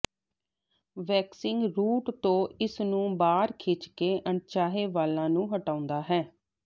waxing root ਤੋਂ ਇਸ ਨੂੰ ਬਾਹਰ ਖਿੱਚ ਕੇ ਅਣਚਾਹੇ ਵਾਲਾਂ ਨੂੰ ਹਟਾਉਂਦਾ ਹੈ